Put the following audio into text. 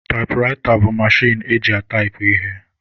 Taịpụraịta bụ mechin eji ataipụ ihe.